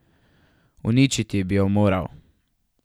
Uničiti bi jo moral.